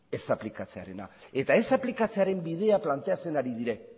ez aplikatzearena eta ez aplikatzearen bidea planteatzen ari dira